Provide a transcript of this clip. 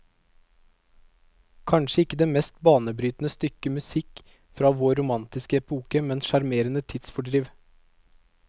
Kanskje ikke det mest banebrytende stykke musikk fra vår romantiske epoke, men sjarmerende tidsfordriv.